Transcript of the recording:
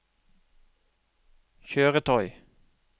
kjøretøy